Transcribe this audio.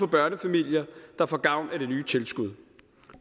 børnefamilier der får gavn af det nye tilskud